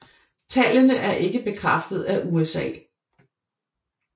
Tallene er ikke bekræftet af USA